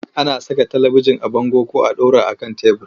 Ana saka talibijin a bango ko a ɗora a kan tebur.